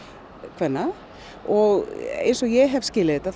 kvenna og eins og ég hef skilið þetta